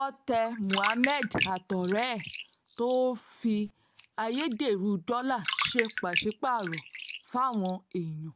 owó tẹ muhammed àtọ̀rẹ́ ẹ̀ tó ń fi ayédèrú dọ́là ṣe pàṣípààrọ̀ fáwọn èèyàn